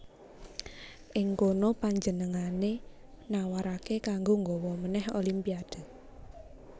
Ing kunu panjenengané nawaraké kanggo nggawa manèh Olimpiade